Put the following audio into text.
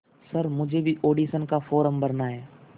sir मुझे भी audition का फॉर्म भरना है